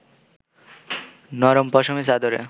নরম পশমি চাদরে